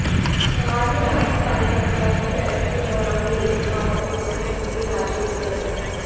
गाहर में भाजपा कार्यकर्ताओं की बैठक के दौरान बोले खाद्य आपूर्ति मंत्री राजेंद्र गर्ग